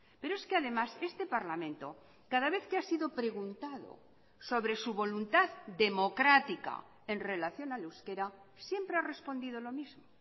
pero es que además este parlamento cada vez que ha sido preguntado sobre su voluntad democrática en relación al euskera siempre ha respondido lo mismo